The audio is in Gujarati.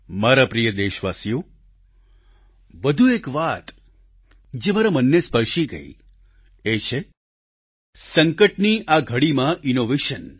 મારા પ્રિય દેશવાસીઓ વધુ એક વાત જે મારા મનને સ્પર્શી ગઈ એ છે સંકટની આ ઘડીમાં ઈનોવેશન